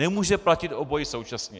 Nemůže platit obojí současně.